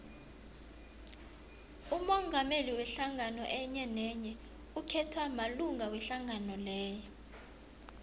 umongameli wehlangano enyenenye ukhethwa malunga wehlangano leyo